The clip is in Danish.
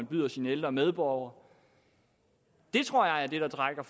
bydes de ældre medborgere det tror jeg er det der trækker